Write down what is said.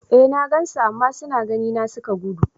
E, na gan su, amma suna gani na suka gudu.